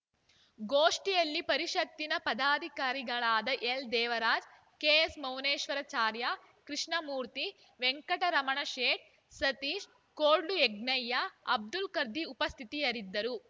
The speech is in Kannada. ಗೋಷ್ಠಿಯಲ್ಲಿ ಪರಿಷತ್ತಿನ ಪದಾಧಿಕಾರಿಗಳಾದ ಎಲ್‌ದೇವರಾಜ್‌ ಕೆಎಸ್‌ಮೌನೇಶ್ವರಾಚಾರ್‌ ಕೃಷ್ಣಮೂರ್ತಿ ವೆಂಕಟರಮಣಶೇಟ್‌ ಸತೀಶ್‌ ಕೋಡ್ಲುಯಜ್ಞಯ್ಯ ಅಬ್ದುಲ್‌ ಖದಿರ್‌ ಉಪಸ್ಥಿತಿಯಾರಿದ್ದರು